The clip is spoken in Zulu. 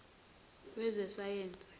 wezasayensi